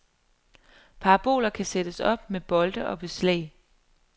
Paraboler kan sættes op med bolte og beslag.